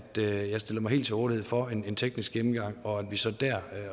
jeg stiller mig helt til rådighed for en teknisk gennemgang og at vi så der